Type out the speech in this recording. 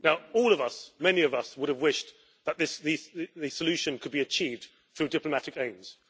All of us, many of us, would have wished that the solution could be achieved through diplomatic aims.